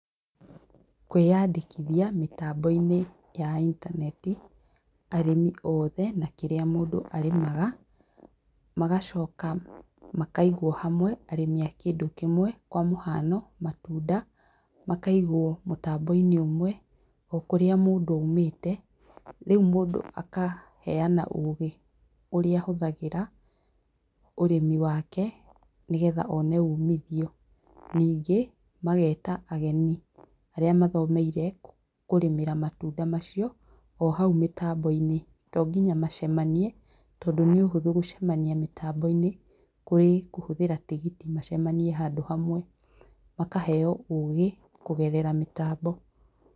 Kwīandīkithia mītambo-inī ya intaneti, arīmi othe na kīrīa mundu arīmaga, magacoka makaigwo hamwe arīmi a kīndu kīmwe kwa muhano; matunda makaigwo mutamboinī umwe o kurīa mundu oimīte, rīu mundu akaheana ugī urīa ahuthagīra urīmi wake nīgetha one umithio ningī mageta ageni arīa mathomeire kurīmīra matunda macio o hau mītambo-inī to nginya macemanie tondu nī uhuthu gucemania mītambo-inī kurī kuhuthīra tigiti macemanie handu hamwe, makaheo ugī kugerera mītambo